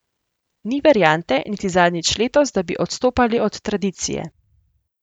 Ni variante, niti zadnjič letos, da bi odstopali od tradicije.